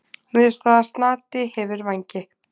Niðurstaða: Snati hefur vængi.